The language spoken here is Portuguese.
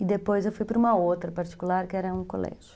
E depois eu fui para uma outra particular, que era um colégio.